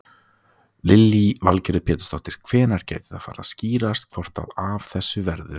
Lillý Valgerður Pétursdóttir: Hvenær gæti það farið að skýrast hvort að af þessu verður?